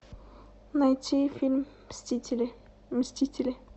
найти фильм мстители мстители